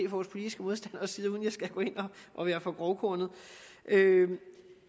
vores politiske modstanderes side uden at jeg skal gå ind og være for grovkornet det vi